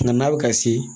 Nka n'a bɛ ka se